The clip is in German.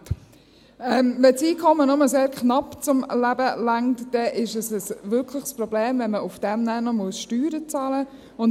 Wenn das Einkommen nur sehr knapp zum Leben reicht, dann ist es ein echtes Problem, wenn man dann darauf noch Steuern bezahlen muss.